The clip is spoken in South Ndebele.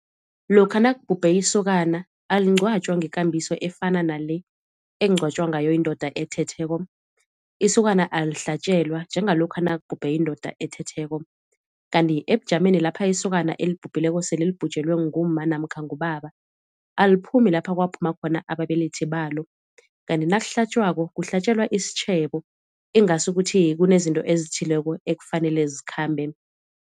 Lokha nakubhubhe isokana alingcwatjwa ngekambiso efana nale ekungcwatjwa ngayo indoda ethetheko. Isokana alihlatjelwa njengalokha nakubhubhe indoda ethetheko. Kanti ebujameni lapha isokana elibhubhileko sele libhujelwe ngumma namkha ngubaba aliphumi lapha kwaphuma khona ababelethi balo. Kanti nakuhlatjwako kuhlatjelwa isitjhebo ingasi ukuthi kunezinto ezithileko ekufanele zikhambe.